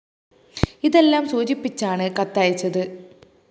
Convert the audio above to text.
ഇതെല്ലാം സൂചിപ്പിച്ചാണ് കത്ത് അയച്ചത്